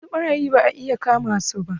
Wasu ɓarayin ba a iya kamasu.